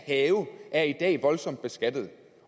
have er i dag voldsomt beskattet